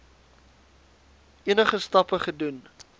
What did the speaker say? enige stappe gedoen